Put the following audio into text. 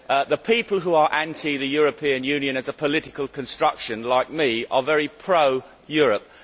The people who are anti the European Union of the political construction, like me, are very pro Europe.